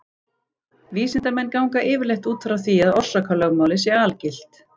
Vísindamenn ganga yfirleitt út frá því að orsakalögmálið sé algilt.